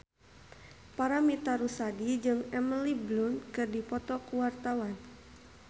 Paramitha Rusady jeung Emily Blunt keur dipoto ku wartawan